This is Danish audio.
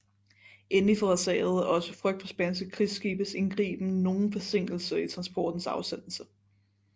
Endelig forårsagede også frygt for spanske krigsskibes indgriben nogen forsinkelse i transportens afsendelse